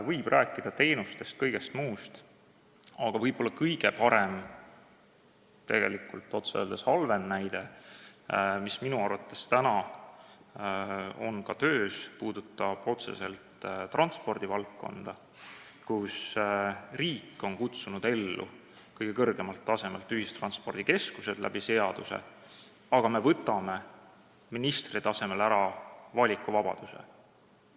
Võib rääkida teenustest ja kõigest muust, aga võib-olla kõige parem või otse öeldes kõige halvem näide, mis minu arvates on praegu töös, puudutab transpordivaldkonda, kus riik on kõige kõrgemal tasemel kutsunud seaduse abil ellu ühistranspordikeskused, aga me võtame ministri tasemel valikuvabaduse ära.